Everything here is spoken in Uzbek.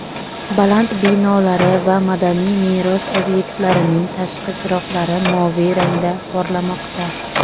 baland binolari va madaniy meros obyektlarining tashqi chiroqlari moviy rangda porlamoqda.